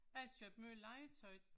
Jeg har købt meget legetøj